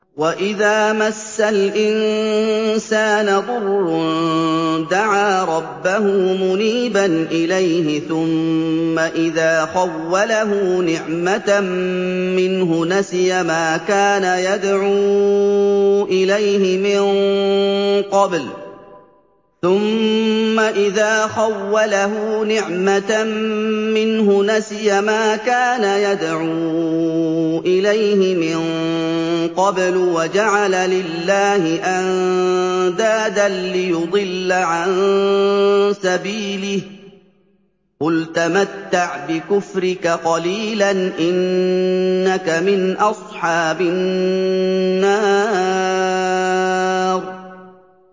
۞ وَإِذَا مَسَّ الْإِنسَانَ ضُرٌّ دَعَا رَبَّهُ مُنِيبًا إِلَيْهِ ثُمَّ إِذَا خَوَّلَهُ نِعْمَةً مِّنْهُ نَسِيَ مَا كَانَ يَدْعُو إِلَيْهِ مِن قَبْلُ وَجَعَلَ لِلَّهِ أَندَادًا لِّيُضِلَّ عَن سَبِيلِهِ ۚ قُلْ تَمَتَّعْ بِكُفْرِكَ قَلِيلًا ۖ إِنَّكَ مِنْ أَصْحَابِ النَّارِ